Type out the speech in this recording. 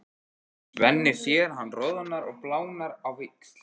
Svenni sér að hann roðnar og blánar á víxl.